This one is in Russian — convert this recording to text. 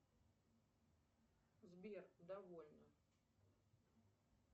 сбер довольно